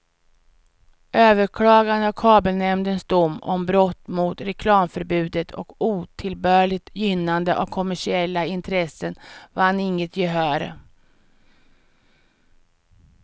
Överklagandet av kabelnämndens dom om brott mot reklamförbudet och otillbörligt gynnande av kommersiella intressen vann inget gehör.